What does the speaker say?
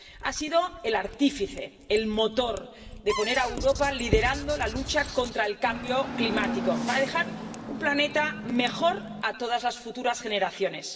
Has sido el artífice, el motor de poner a Europa liderando la lucha contra el cambio climático para dejar un planeta mejor a todas las futuras generaciones.